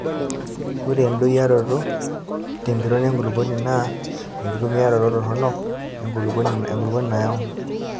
Ore endoyioroto tempiron enkulukuoni naa enkitumiaroto toronok enkulukuoni nayau.